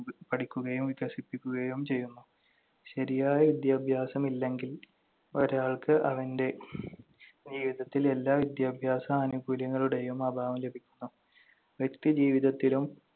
പഠിക്കുകയും വികസിപ്പിക്കുകയും ചെയ്യുന്നു. ശരിയായ വിദ്യാഭ്യാസം ഇല്ലെങ്കിൽ, ഒരാൾക്ക് അവന്‍റെ ജീവിതത്തിൽ എല്ലാ വിദ്യാഭ്യാസ ആനുകൂല്യങ്ങളുടെയും അഭാവം ലഭിക്കുന്നു. വ്യക്തിജീവിതത്തിലും